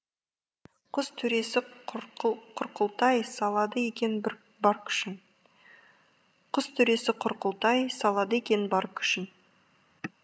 құс төресі құрқылтай салады екен бар күшін құс төресі құрқылтай салады екен бар күшін